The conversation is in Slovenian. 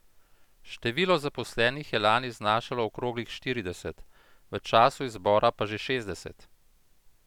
Število zaposlenih je lani znašalo okroglih štirideset, v času izbora pa že šestdeset.